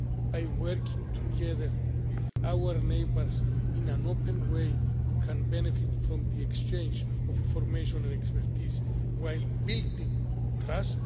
By working together with our neighbours in an open way we can benefit from the exchange of information and expertise while building trust.